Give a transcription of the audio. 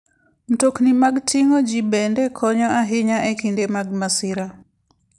Mtokni mag ting'o ji bende konyo ahinya e kinde mag masira.